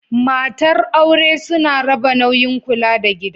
Matar aure suna raba nauyin kula da gida.